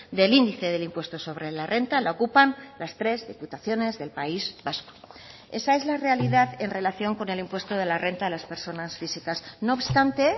del índice del impuesto sobre la renta la ocupan las tres diputaciones del país vasco esa es la realidad en relación con el impuesto de la renta de las personas físicas no obstante